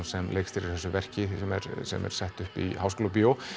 sem leikstýrir þessu verki sem er sem er sett upp í Háskólabíói